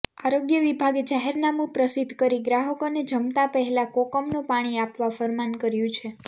આરોગ્ય વિભાગે જાહેરનામું પ્રસિદ્ધ કરી ગ્રાહકોને જમતા પહેલા કોકમનું પાણી આપવા ફરમાન કર્યું છે